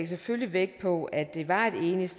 selvfølgelig vægt på at det